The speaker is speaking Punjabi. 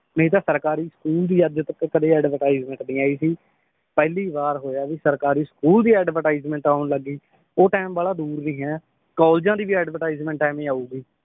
ਨਈ ਤਾਂ ਸਰਕਾਰੀ ਸਕੂਲ ਦੀ ਅਜੇ ਤੱਕ ਕਦੇ advertisement ਨੀ ਆਈ ਸੀ ਪਹਿਲੀ ਵਾਰ ਹੋਇਆ ਏ ਵੀ ਸਰਕਾਰੀ ਸਕੂਲ ਦੀ advertisement ਆਉਣ ਲੱਗ ਗਈ ਉਹ ਟਾਈਮ ਬਾਹਲਾ ਦੂਰ ਨੀ ਹੈ ਕਾਲਜਾਂ ਦੀ ਵੀ advertisement ਐਵੇਂ ਆਊਗੀ